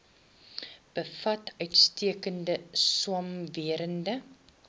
bevat uitstekende swamwerende